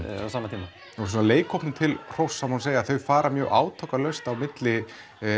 tíma og leikhópnum til hróss má segja að þau fara mjög átakalaust á milli